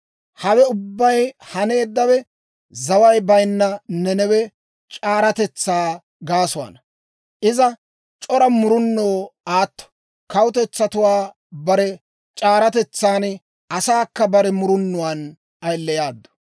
Hawe ubbay haneeddawe zaway baynna Nanawe c'aaratetsaa gaasuwaana. Iza c'ora murunoo aatto; kawutetsatuwaa bare c'aaratetsaan, asaakka bare murunuwaan ayileyaaddu.